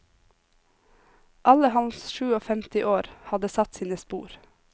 Alle hans sjuogfemti år hadde satt sine spor.